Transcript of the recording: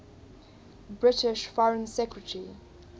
british foreign secretary